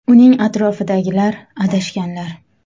Uning atrofidagilar adashganlar.